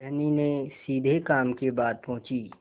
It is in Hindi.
धनी ने सीधे काम की बात पूछी